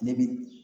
Ne bi